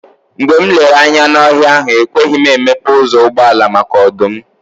Mgbe m lere anya n'ọhịa ahụ, ekweghị m emepe ụzọ ụgbọala, maka ọdụm.